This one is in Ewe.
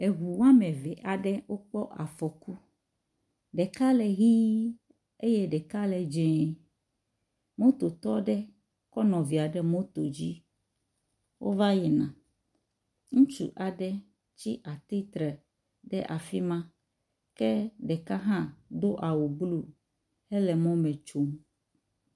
eʋu woameve aɖe wokpɔ afɔku , ɖeka le ɣii eye ɖeka le dzɛ̃, mototɔaɖe kɔ nɔvia ɖe moto dzi wóva yina ŋutsu aɖe tsi atítre ɖe afima ke ɖeka hã dó awu blu hele mɔmɛtsom